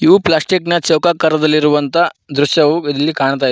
ಇದು ಪ್ಲಾಸ್ಟಿಕ್ ನ ಚೌಕಕಾರದಲ್ಲಿರುವಂತ ದೃಶ್ಯವು ಇಲ್ಲಿ ಕಾಣ್ತಾ ಇದೆ.